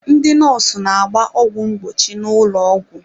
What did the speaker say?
Ndị nọọsụ na-agba ọgwụ mgbochi n'ụlọ ọgwụ.